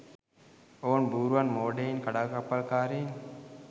ඔවුන් බූරුවන් මෝඩයින් කඩාකප්පල්කාරීන්